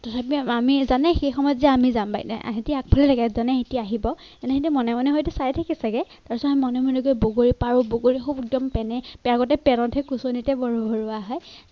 তথাপি আমি জানে সেই সময়ত যে আমি যাম বাৰীলৈ সিহঁতে আগফালে থাকে জানে সিহঁতে আহিব মনে মনে হয়তো চাই থাকে চাগে তাৰ পিছত আমি মনে মনে গৈ বগৰী পাৰো বগৰী একদম পেনে আগতে পেনতে খোচনিতে ভৰো ভৰোৱা হয়।